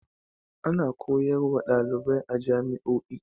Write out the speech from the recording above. Ana koyar wa ɗalibai a jami'o'i.